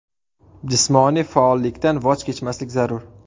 Jismoniy faollikdan voz kechmaslik zarur.